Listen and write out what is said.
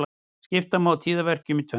Skipta má tíðaverkjum í tvennt.